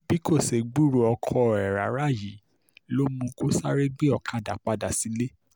bí kò ṣe gbúròó ọkọ ẹ̀ rárá yìí ló mú kó sáré gbé ọ̀kadà padà sílé